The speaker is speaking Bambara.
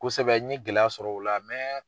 Kosɛbɛ n ye gɛlɛya sɔrɔ o la